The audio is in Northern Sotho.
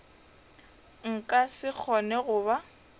nka se kgone go ba